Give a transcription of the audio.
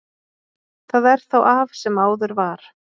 Það er þá af sem áður var.